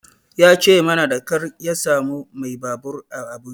Ya ce mana da ƙyar ka samu mai babur a Abuja.